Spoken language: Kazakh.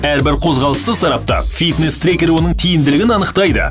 әрбір қозғалысты сараптап фитнес трекер оның тиімділігін анықтайды